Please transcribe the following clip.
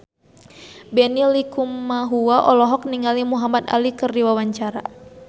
Benny Likumahua olohok ningali Muhamad Ali keur diwawancara